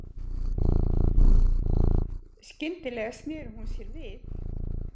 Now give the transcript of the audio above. Skyndilega sneri hún sér við.